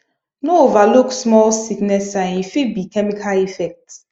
no overlook small sickness sign e fit be chemical effect